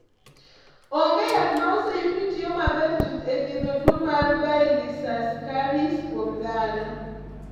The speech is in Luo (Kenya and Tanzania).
Onge yath ma oseyud ni tiyo maber chuth e thiedho tuo mar Baylisascaris kuom dhano.